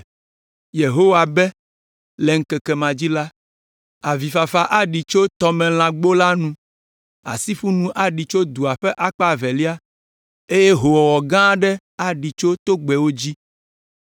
Yehowa be: “Le ŋkeke ma dzi la, avifafa aɖi tso Tɔmelãgbo la nu, asiƒunu aɖi tso dua ƒe akpa evelia, eye howɔwɔ gã aɖe aɖi tso togbɛwo dzi.